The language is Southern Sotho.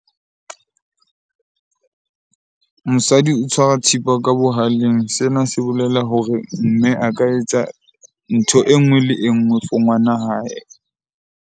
Mosadi o tshwara thipa ka bohaleng. Sena se bolela hore mme a ka etsa ntho e nngwe le e nngwe for ngwana hae.